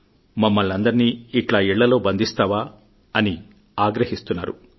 మమ్మల్నందరినీ ఇట్ల ఇళ్లలో బందిస్తావా అని ఆగ్రహిస్తున్నారు